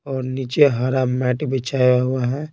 और नीचे हरा मैट बिछाया हुआ है।